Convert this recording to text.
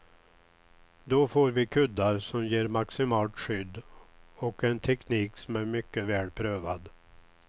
Då får vi kuddar som ger maximalt skydd och en teknik som är mycket väl prövad.